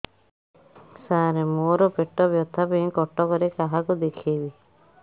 ସାର ମୋ ର ପେଟ ବ୍ୟଥା ପାଇଁ କଟକରେ କାହାକୁ ଦେଖେଇବି